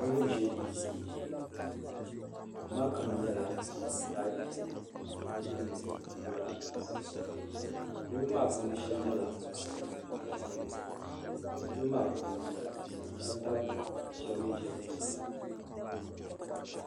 Niriba n-ʒe duu tooni duu maa kama nyɛla zaɣ'piɛlli ka di gbunni nyɛ zaɣ'sabinli niriba maa puuni shɛba nyɛla paɣiba ka shɛba nyɛ dabba niriba maa puuni shɛba dabimi ka shɛba mi ʒe zuɣusaa.